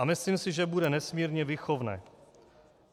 A myslím si, že bude nesmírně výchovné.